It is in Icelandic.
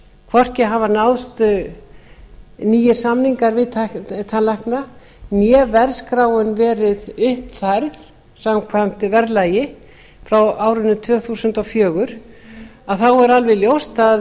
hvorki hafa náðst nýir samningar við tannlækna né verðskráin verið uppfærð samkvæmt verðlagi frá árinu tvö þúsund og fjögur er alveg ljóst